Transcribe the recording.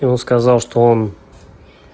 и он сказал что он